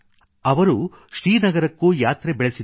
ಅವರು ಶ್ರೀನಗರಕ್ಕೂ ಯಾತ್ರೆ ಬೆಳೆಸಿದ್ದರು